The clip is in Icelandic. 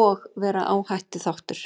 og vera áhættuþáttur.